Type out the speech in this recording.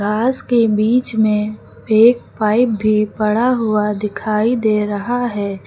घास के बीच में एक पाइप भी पड़ा हुआ दिखाई दे रहा है।